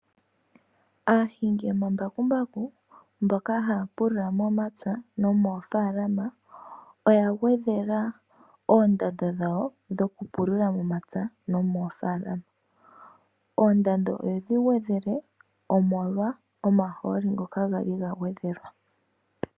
Aahingi yomambakumbaku mboka ha pulula momapya nomofaalama oya ngwedhela oondando dhawo dhokupulula momapya nomofaalama. Oondando oye dhi ngwedhele molwa omaholi ngoka gangwedhelwa.